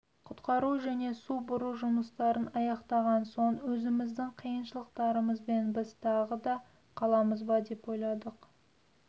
құтқару және су бұру жұмыстарын аяқтаған соң өзіміздің қиыншылықтарымызбен біз тағы да қаламыз ба деп ойладық